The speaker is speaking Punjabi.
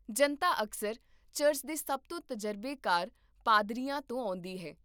ਜਨਤਾ ਅਕਸਰ ਚਰਚ ਦੇ ਸਭ ਤੋਂ ਤਜਰਬੇਕਾਰ ਪਾਦਰੀਆਂ ਤੋਂ ਆਉਂਦੀ ਹੈ